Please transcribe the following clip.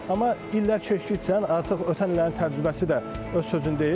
Amma illər keçdikcə artıq ötən illərin təcrübəsi də öz sözünü deyir.